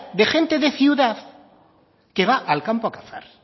de gente de ciudad que va al campo a cazar